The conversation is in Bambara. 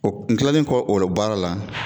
n kilalen kɔ o baara la